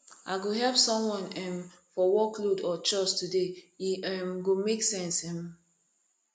i go help someone um for workload or chores today e um go make sense um